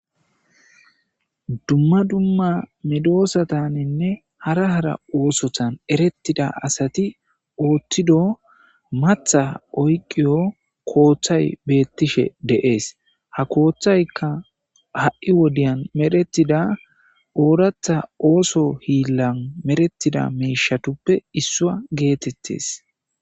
Dumma dumma midoosataninne hara hara oosotan erettida asati ooththido matha oyqiyo kooththay beettishe deees ha kooththaykka ha'wodiya meretida ooratha ooso hiillan merettida meishatuppe issua geetettes.